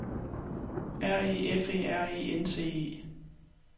R E F E R E N C E